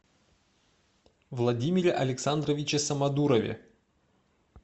владимире александровиче самодурове